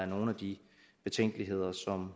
nogle af de betænkeligheder